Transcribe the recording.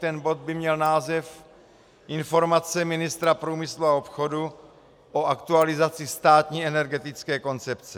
Ten bod by měl název Informace ministra průmyslu a obchodu o aktualizaci státní energetické koncepce.